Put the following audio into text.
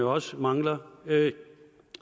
også mangler